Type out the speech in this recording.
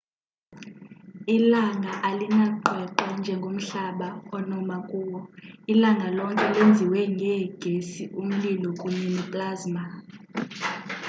ilanga alinaqweqwe njengomhlaba onoma kuwo ilanga lonke lenziwe ngeegesi umlilo kunye neplasma